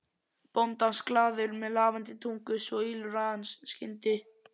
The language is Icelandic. bóndans, glaður, með lafandi tungu, svo ýlfraði hann skyndi